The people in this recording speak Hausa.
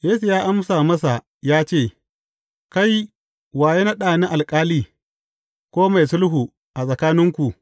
Yesu ya amsa masa ya ce, Kai, wa ya naɗa ni alƙali, ko mai sulhu a tsakaninku?